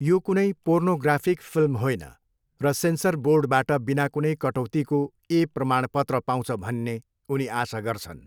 यो कुनै pornographic film होइन र सेन्सर बोर्डबाट बिना कुनै कटौतीको ए प्रमाणपत्र पाउँछ भन्ने उनी आशा गर्छन्।